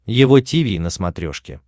его тиви на смотрешке